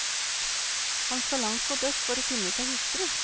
Han skal langt mot øst for å finne seg hustru.